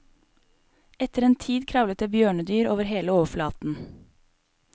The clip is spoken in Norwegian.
Etter en tid kravlet det bjørnedyr over hele overflaten.